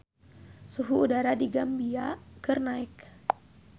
Suhu udara di Gambia keur naek